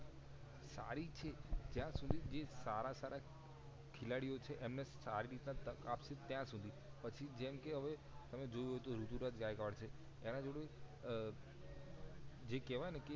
સારી છે જયા સુધી જે સારા સારા ખેલાડી ઓ છે એમને સારી રીતના તક આપ્સુ ત્યાં સુધી પછી જેમ કે હવે તમે જોયું હોય તો ઋતુરાજ ગાયકવાડ છે એના જોડે જે કેવાય ને કે